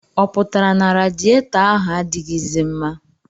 Ọ pụtara na radiyetọ ahụ adịghịzi mma?